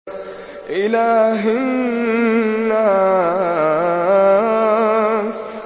إِلَٰهِ النَّاسِ